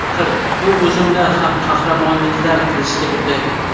Axir, bu o‘zimizni ham qahramonliklar qilishga undaydi.